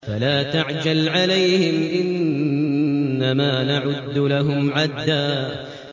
فَلَا تَعْجَلْ عَلَيْهِمْ ۖ إِنَّمَا نَعُدُّ لَهُمْ عَدًّا